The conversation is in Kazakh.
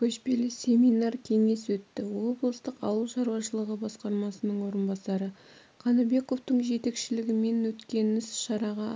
көшпелі семинар-кеңес өтті облыстық ауыл шаруашылығы басқармасының орынбасары қаныбековтың жетекшілігімен өткеніс-шараға